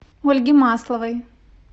ольге масловой